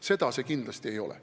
Seda see kindlasti ei ole.